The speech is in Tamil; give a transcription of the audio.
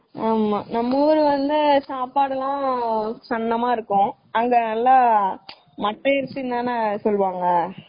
ஆமா நம்ம ஊரு வந்து சாப்பாடு எல்லாம் சென்னமா இருக்கும்.அங்க சாப்பாடு எல்லாம் மட்டை அரிசி தான சொல்லுவாங்க.